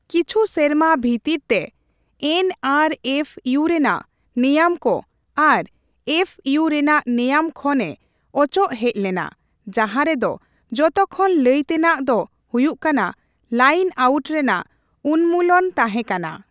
ᱠᱤᱪᱷᱩ ᱥᱮᱨᱢᱟ ᱵᱷᱤᱛᱤᱨ ᱛᱮ, ᱮᱱᱹᱟᱨᱹᱮᱯᱷᱹᱭᱩ ᱨᱮᱱᱟᱜ ᱱᱮᱭᱟᱢ ᱠᱚ ᱟᱨ ᱮᱯᱷ ᱤᱭᱩ ᱨᱮᱱᱟᱜ ᱱᱮᱭᱟᱹᱢ ᱠᱷᱚᱱ ᱮ ᱚᱪᱚᱜ ᱦᱮᱡ ᱞᱮᱱᱟ, ᱡᱟᱦᱟᱸ ᱨᱮᱫᱚ ᱡᱚᱛᱚᱠᱷᱚᱱ ᱞᱟᱹᱭᱛᱮᱱᱟᱜ ᱫᱚ ᱦᱩᱭᱩᱜ ᱠᱟᱱᱟ ᱞᱟᱭᱤᱱ ᱟᱣᱩᱴ ᱨᱮᱱᱟᱜ ᱩᱱᱱᱢᱩᱞᱚᱱ ᱛᱟᱦᱮᱸ ᱠᱟᱱᱟ ᱾